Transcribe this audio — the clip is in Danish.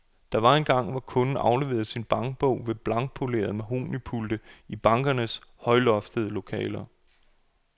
Der var engang, hvor kunden afleverede sin bankbog ved blankpolerede mahognipulte i bankernes højloftede lokaler.